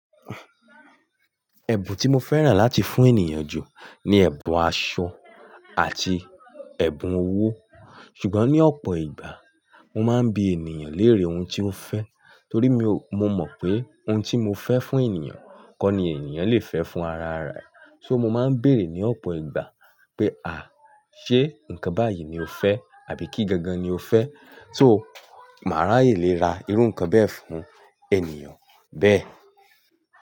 Ẹ̀bùn tí mo fẹ́ràn láti fún ènìyàn jù ni ẹ̀bùn aṣọ àti ẹ̀bùn owó. Ṣùgbọ́n ní ọ̀pọ̀ ìgbà mo máa ń bi ènìyàn léèrè ohun tí ó fẹ́. Torí mi ò, mo mọ̀ pé ohun tí mo fẹ́ fún ènìyàn kọ́ ni ènìyàn lè fẹ́ fún ara rẹ̀. So mo máa ń bèerè ní ọ̀pọ̀ ìgbà pé "à, ṣe nǹkan báyìí ni o fẹ́ àbí kí gangan ni o fẹ́?" So, màá ráyè lè ra irú nǹkan bẹ́ẹ̀ fún ènìyàn bẹ́ẹ̀